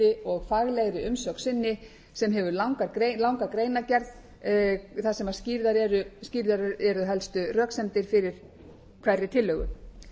og faglegri umsögn sinni sem hefur langa greinargerð þar sem skýrðar eru helstu röksemdir fyrir hverri tillögu